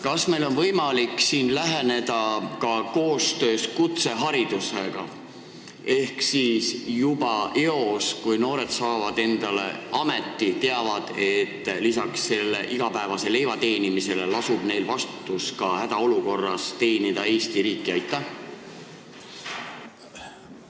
Kas meil on võimalik läheneda sellele teemale ka koostöös kutseharidusega ehk nii, et noored juba eos teaksid, et kui nad saavad endale ameti, siis lisaks igapäevasele leivateenimise kohustusele lasub neil kohustus hädaolukorras Eesti riiki teenida?